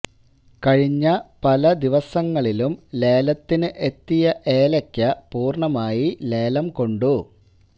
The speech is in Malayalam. കഴിഞ്ഞ പല ദിവസങ്ങളിലും ലേലത്തിന് എത്തിയ ഏലക്ക പുർണമായി ലേലം കൊണ്ടു